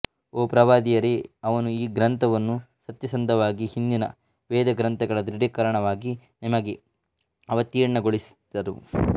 ಓ ಪ್ರವಾದಿಯರೇ ಅವನು ಈ ಗ್ರಂಥವನ್ನು ಸತ್ಯಸಂಧವಾಗಿ ಹಿಂದಿನ ವೇದಗ್ರಂಥಗಳ ದೃಢೀಕರಣವಾಗಿ ನಿಮಗೆ ಅವತೀರ್ಣಗೊಳಿಸಿದನು